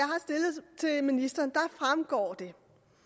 af ministeren fremgår det